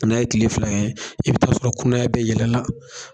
Na ye kile fila kɛ , i be taa sɔrɔ kunaya bɛɛ yɛlɛla.